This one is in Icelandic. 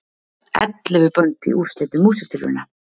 Ellefu bönd í úrslitum Músíktilrauna